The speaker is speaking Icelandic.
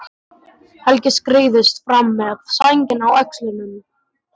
Helgi skreiðist fram með sængina á öxlunum.